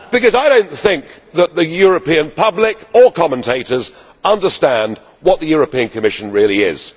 I do not think that the European public or commentators understand what the European Commission really is.